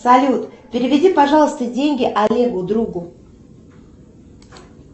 салют переведи пожалуйста деньги олегу другу